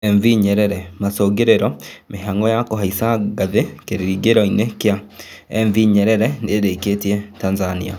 MV Nyerere: Macũngĩrĩro mĩhang'o ya kuhaicia ngathĩ kĩringĩro kĩa MV Nyerere nĩkĩrĩkĩte Tanzania